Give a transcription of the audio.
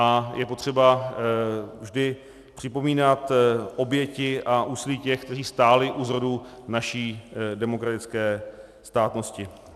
A je potřeba vždy připomínat oběti a úsilí těch, kteří stáli u zrodu naší demokratické státnosti.